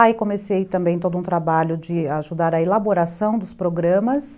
Aí comecei também todo um trabalho de ajudar a elaboração dos programas.